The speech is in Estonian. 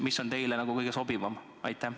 Mis on teile kõige sobivam?